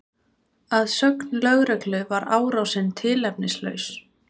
Að sögn lögreglu var árásin tilefnislaus